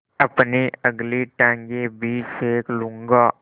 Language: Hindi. अपनी अगली टाँगें भी सेक लूँगा